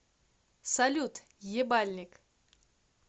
салют ебальник